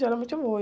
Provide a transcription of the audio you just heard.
Geralmente eu vou.